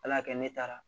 Ala y'a kɛ ne taara